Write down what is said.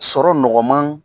Sɔrɔ nɔgɔman